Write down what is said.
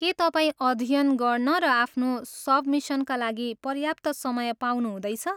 के तपाईँ अध्ययन गर्न र आफ्नो सबमिसनका लागि पर्याप्त समय पाउनु हुँदैछ?